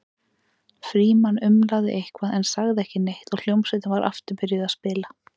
Frímann umlaði eitthvað en sagði ekki neitt og hljómsveitin var aftur byrjuð að spila.